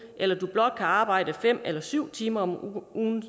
eller du blot kan arbejde fem eller syv timer om ugen